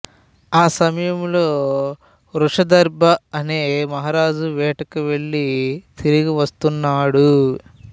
ఆ సమయంలో వృషాదర్భి అనే మహారాజు వేటకువెళ్ళి తిరిగి వస్తున్నాడు